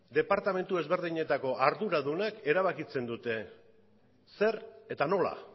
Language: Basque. departamentu ezberdinetako arduradunek erabakitzen dute zer eta nola